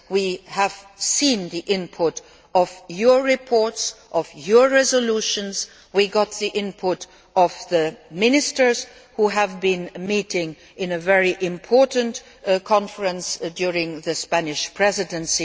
We have seen the input of your reports, of your resolutions and we have got the input from the Ministers who have been meeting in a very important conference during the Spanish Presidency.